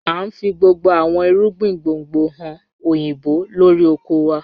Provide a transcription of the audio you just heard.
A ń fi gbogbo àwọn ìrúgbìn gbóngbò hàn oyinbó lọ́rí ọkọ̀ wà.